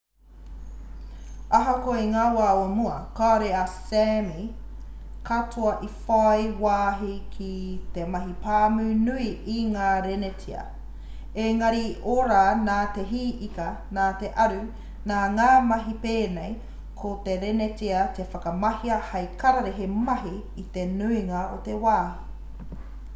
ahakoa i ngā wā o mua kāore ngā sāmi katoa i whai wāhi ki te mahi pāmu nui i ngā renetia ēngari i ora nā te hī ika nā te aru nā ngā mahi pēnei ko te renetia i whakamahia hei kararehe mahi i te nuinga o te wā